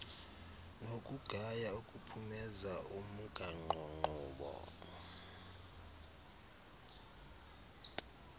nokugaya ukuphumeza umgaqonkqubo